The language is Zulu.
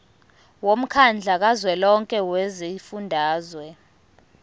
womkhandlu kazwelonke wezifundazwe